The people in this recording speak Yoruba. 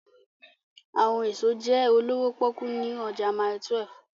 Awọn eso jẹ olowo poku ni ọja Mile 12